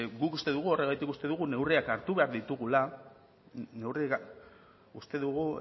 guk uste dugu horregatik uste dugu neurriak hartu behar ditugula uste dugu